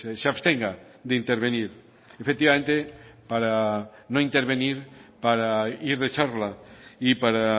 se abstenga de intervenir efectivamente para no intervenir para ir de charla y para